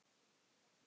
Björn glotti.